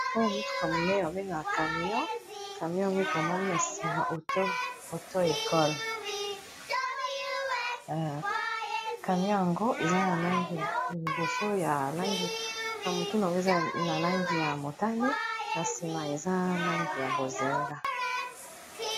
oyo mutuka munene babengaka camion camion yango ekomomi na nsima ato ekole camion yango eza na langi liboso na mutuna oyo eza na langi ya motane na nsima eza nangi ya bozenga